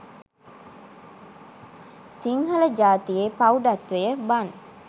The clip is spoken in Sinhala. සිංහල ජාතියේ ප්‍රෞඩත්වය බන්.